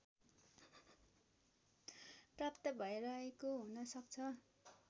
प्राप्त भैरहेको हुनसक्छ